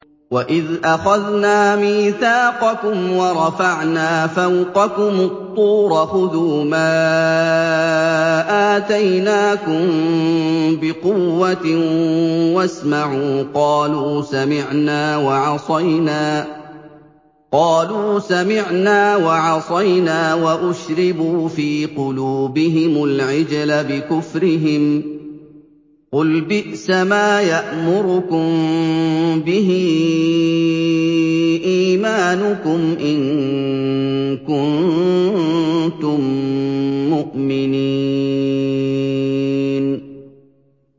وَإِذْ أَخَذْنَا مِيثَاقَكُمْ وَرَفَعْنَا فَوْقَكُمُ الطُّورَ خُذُوا مَا آتَيْنَاكُم بِقُوَّةٍ وَاسْمَعُوا ۖ قَالُوا سَمِعْنَا وَعَصَيْنَا وَأُشْرِبُوا فِي قُلُوبِهِمُ الْعِجْلَ بِكُفْرِهِمْ ۚ قُلْ بِئْسَمَا يَأْمُرُكُم بِهِ إِيمَانُكُمْ إِن كُنتُم مُّؤْمِنِينَ